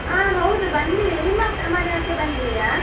ಆ ಹೌದು ಬಂದಿದೆ. ನಿಮ್ಮ ಮನೆಯಾಚೆ ಬಂದಿದೆಯಾ?